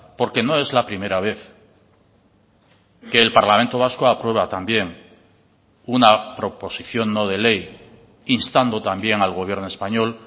porque no es la primera vez que el parlamento vasco aprueba también una proposición no de ley instando también al gobierno español